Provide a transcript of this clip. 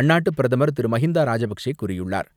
அந்நாட்டு பிரதமர் திரு மஹிந்தா ராஜபக்சே கூறியுள்ளார்.